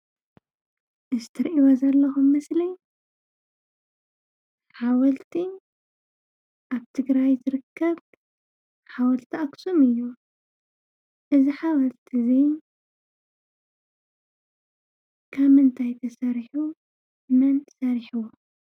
እዚ ትሪእዎ ዘለኹም ምስሊ ሓወልቲ ኣብ ትግራይ ዝርከብ ሓወልቲ አክሱም እዩ። እዚ ሓወልቲ እዚ ካብ ምንታይ ተሰሪሑ ? መን ሰሪሕዎ?